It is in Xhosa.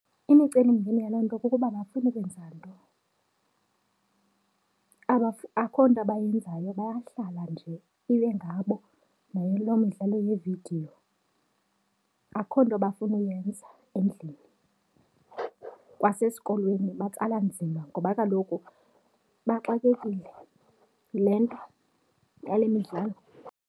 iImicelimingeni yaloo nto kukuba abafuni kwenza nto, akho nto bayenzayo bayahlala nje, ibe ngabo nayo loo midlalo yeevidiyo. Akukho nto bafuna uyenza endlini, kwasesikolweni, batsala nzima ngoba kaloku bexakekile. Yile nto yale midlalo.